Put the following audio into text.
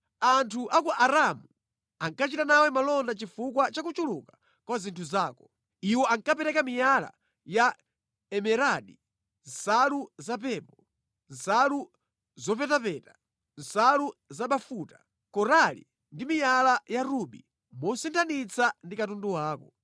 “Anthu a ku Aramu ankachita nawe malonda chifukwa cha kuchuluka kwa zinthu zako. Iwo ankapereka miyala ya emeradi, nsalu zapepo, nsalu zopetapeta, nsalu zabafuta, korali ndi miyala ya rubi mosinthanitsa ndi katundu wako.